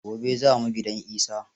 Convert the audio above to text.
Gobe za mu gidan Isa.